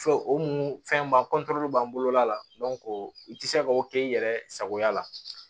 Fɔ o mu fɛnba b'an bolo la i ti se k'o kɛ i yɛrɛ sagoya la